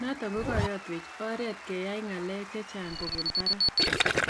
naton kogayatwch oreet keyai ngaleg chechang kobun parak,�